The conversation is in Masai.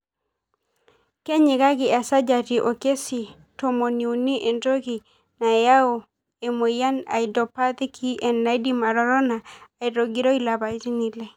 Kenyikaki esajati okesii tomoniuni entoki nayau emoyian e idiopathic EN naidim atotona aitogiroi lapaitin ile.